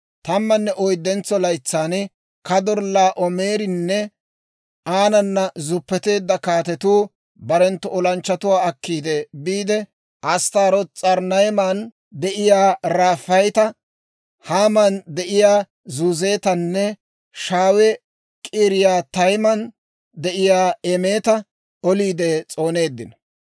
Tammanne oyddentso laytsan Kadorllaa'oomerinne aanana zuppeteedda kaatetu barenttu olanchchatuwaa akki biide, Asttaarooti s'arnnayman de'iyaa Raafaayeta, Haaman de'iyaa Zuuzetanne Shaawe-K'iriyaatayman de'iyaa Eemeta oliide s'ooneeddino.